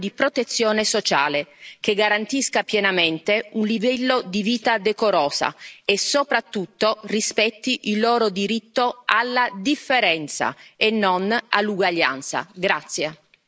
Il mio impegno sarà costante e andrà nella direzione di un piano di protezione sociale, che garantisca pienamente un livello di vita decorosa e soprattutto rispetti il loro diritto alla differenza e non all'uguaglianza.